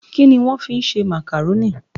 Kini won fi n ṣe Macaroni?